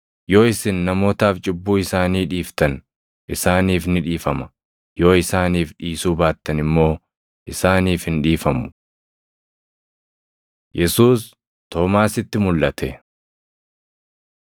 Yoo isin namootaaf cubbuu isaanii dhiiftan isaaniif ni dhiifama; yoo isaaniif dhiisuu baattan immoo isaaniif hin dhiifamu.” Yesuus Toomaasitti Mulʼate